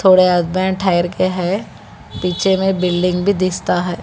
थोड़े हस्बैंड ठहर के हैं पीछे में बिल्डिंग भी दिसता है।